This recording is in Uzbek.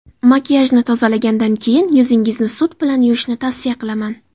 Makiyajni tozalagandan keyin yuzingizni sut bilan yuvishni tavsiya qilaman”.